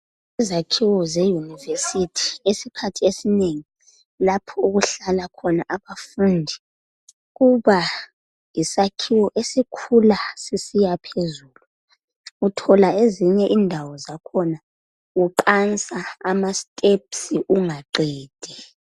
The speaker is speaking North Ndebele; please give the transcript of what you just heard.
Izakhiwo zeyunivesithi isikhathi esinengi lapho okuhlala khona abafundi kuba yisakhiwo esikhula sisiya phezulu uthola ezinye indawo zakhona uqansa ama steps ungaqedi.